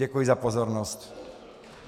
Děkuji za pozornost.